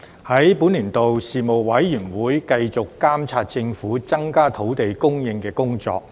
在本年度，事務委員會繼續監察政府增加土地供應的工作。